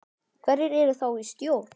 Hverjir eru þar í stjórn?